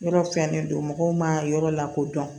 Yɔrɔ fɛnnen don mɔgɔw ma yɔrɔ lakodɔn